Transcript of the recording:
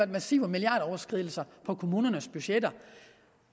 massive milliarderoverskridelser på kommunernes budgetter